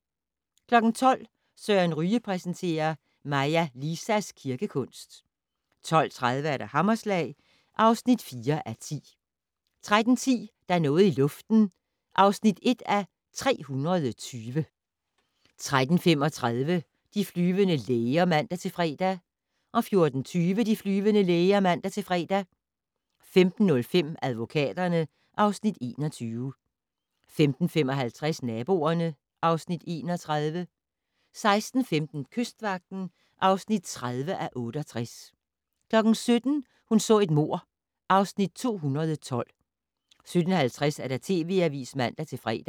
12:00: Søren Ryge præsenterer: Maja Lisas kirkekunst 12:30: Hammerslag (4:10) 13:10: Der er noget i luften (1:320) 13:35: De flyvende læger (man-fre) 14:20: De flyvende læger (man-fre) 15:05: Advokaterne (Afs. 21) 15:55: Naboerne (Afs. 31) 16:15: Kystvagten (30:68) 17:00: Hun så et mord (Afs. 212) 17:50: TV Avisen (man-fre)